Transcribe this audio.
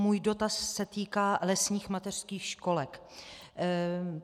Můj dotaz se týká lesních mateřských školek.